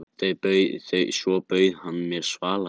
Svo bauð hann mér svaladrykk.